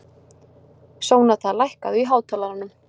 Sónata, lækkaðu í hátalaranum.